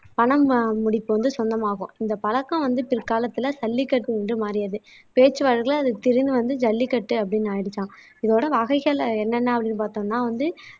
பணம் ஆஹ் முடிப்பு வந்து சொந்தமாகும் இந்த பழக்கம் வந்து பிற்காலத்துல சல்லிக்கட்டு என்று மாறியது பேச்சு வழக்குல அது திரிந்து வந்து ஜல்லிக்கட்டு அப்படீன்னு ஆயிடுச்சாம் இதோட வகைகள் என்னென்ன அப்படீன்னு பார்த்தோம்னா வந்து